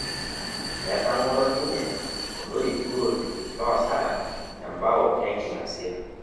Etang'oro ninye olorip gol loosara embao enking'asia